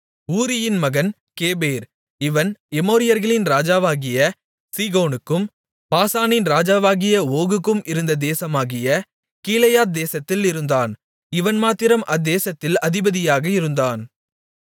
ஊரியின் மகன் கேபேர் இவன் எமோரியர்களின் ராஜாவாகிய சீகோனுக்கும் பாசானின் ராஜாவாகிய ஓகுக்கும் இருந்த தேசமாகிய கீலேயாத் தேசத்தில் இருந்தான் இவன் மாத்திரம் அத்தேசத்தில் அதிபதியாக இருந்தான்